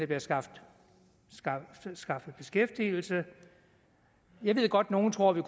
bliver skaffet skaffet beskæftigelse jeg ved godt nogle tror vi